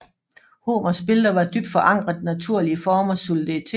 Homers billeder var dybt forankret i naturlige formers soliditet